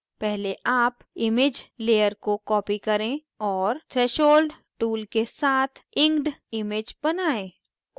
पहले आप image layer को copy करें और threshold tool के साथ inked image बनायें